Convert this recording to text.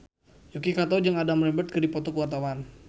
Yuki Kato jeung Adam Lambert keur dipoto ku wartawan